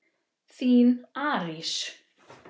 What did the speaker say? Þín Arís.